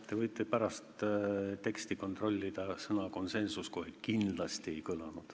Te võite pärast teksti kontrollida, sõna "konsensus" kohe kindlasti ei kõlanud.